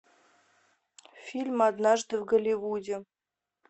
фильм однажды в голливуде